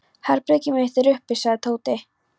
Herbergið mitt er uppi sagði Tóti.